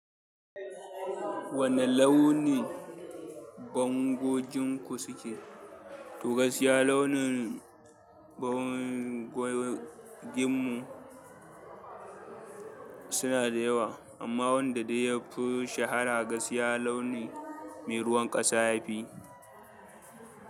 Wane launi bangoginku suke? Toh, gaskiya launin bangoginmu suna da yawa, amma wanda dai yafi shahara gaskiya launi mai ruwan ƙasa yafi.